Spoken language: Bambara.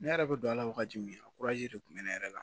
Ne yɛrɛ bɛ don a la wagati min na a de kun bɛ ne yɛrɛ la